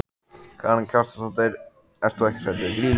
Karen Kjartansdóttir: Ert þú ekkert hræddur við Grýlu?